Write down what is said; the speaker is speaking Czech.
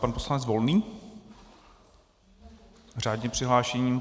Pan poslanec Volný - řádně přihlášený.